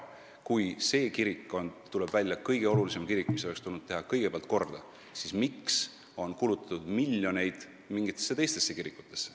Kui see kirik on, nagu nüüd välja tuleb, kõige olulisem kirik, mis oleks tulnud korda teha kõigepealt, siis miks on kulutatud miljoneid teistesse kirikutesse?